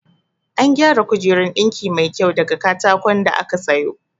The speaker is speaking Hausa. An gyara kujeran ɗinki mai kyau daga katakon da aka sayo